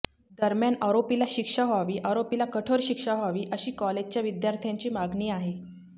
दरम्यान आरोपीला शिक्षा व्हावी आरोपीला कठोर शिक्षा व्हावी अशी कॉलेजच्या विद्यार्थ्यांची मागणी आहे